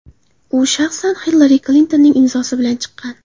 U shaxsan Hillari Klintonning imzosi bilan chiqqan.